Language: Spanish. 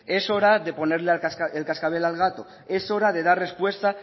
es hora de ponerle el cascabel al gato es hora de dar respuesta